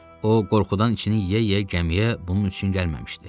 O, qorxudan içini yeyə-yeyə gəmiyə bunun üçün gəlməmişdi.